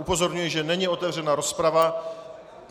Upozorňuji, že není otevřena rozprava.